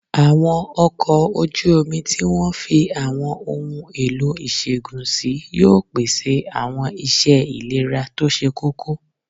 Àwọn ọkọ̀ ojú omi tí wọ́n fi àwọn ohun èlò ìṣègùn sí yóò pèsè àwọn iṣẹ́ ìlera tó ṣe kókó